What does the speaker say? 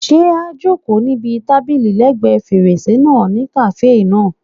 Ṣé a jòkó síbi tábìlì lẹ́ẹ̀gbẹ́ fèrèsé náà ní kàáfè náà?